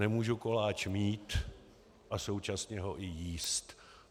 Nemůžu koláč mít a současně ho i jíst.